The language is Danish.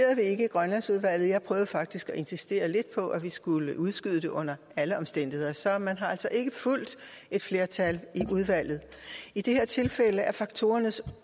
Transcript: grønlandsudvalget jeg prøvede faktisk at insistere lidt på at vi skulle udskyde det under alle omstændigheder så man har altså ikke fulgt et flertal i udvalget i det her tilfælde er faktorernes